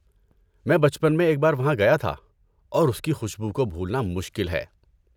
میں بچپن میں ایک بار وہاں گیا تھا اور اس کی خوشبو کو بھولنا مشکل ہے۔